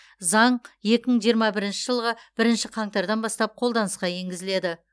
заң екі мың жиырма бірінші жылғы бірінші қаңтардан бастап қолданысқа енгізіледі